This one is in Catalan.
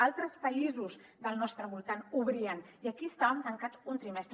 altres països del nostre voltant obrien i aquí van estar tancades un trimestre